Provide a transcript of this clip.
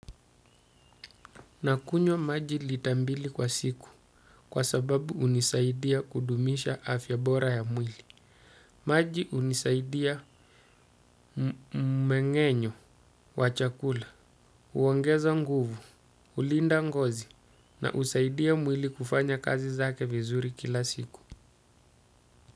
Nakunywa maji litambili kwa siku kwa sababu hunisaidia kudumisha afya bora ya mwili. Maji hunisaidia mmengenyo wa chakula, huongeza nguvu, julinda ngozi na husaidia mwili kufanya kazi zake vizuri kila siku.